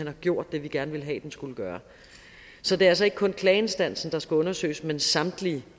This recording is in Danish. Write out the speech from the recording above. har gjort det vi gerne ville have den skulle gøre så det er altså ikke kun klageinstansen der skal undersøges men samtlige